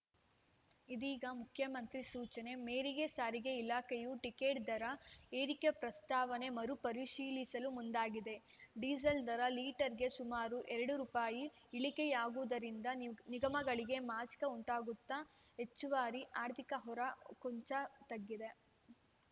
ಇದೀಗ ಮುಖ್ಯಮಂತ್ರಿ ಸೂಚನೆ ಮೇರೆಗೆ ಸಾರಿಗೆ ಇಲಾಖೆಯು ಟಿಕೆಟ್‌ ದರ ಏರಿಕೆ ಪ್ರಸ್ತಾವನೆ ಮರುಪರಿಶೀಲಿಸಲು ಮುಂದಾಗಿದೆ ಡೀಸೆಲ್‌ ದರ ಲೀಟರ್‌ಗೆ ಸುಮಾರು ಎರಡು ರುಪಾಯಿ ಇಳಿಕೆಯಾಗಿರುವುದರಿಂದ ನಿಗಮಗಳಿಗೆ ಮಾಸಿಕ ಉಂಟಾಗುತ್ತಿದ್ದ ಹೆಚ್ಚುವರಿ ಆರ್ಥಿಕ ಹೊರ ಕೊಂಚ ತಗ್ಗಿದೆ